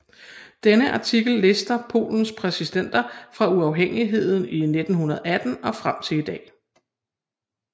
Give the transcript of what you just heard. Denne artikel lister Polens præsidenter fra uafhængigheden i 1918 og frem til i dag